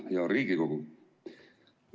Hea Riigikogu!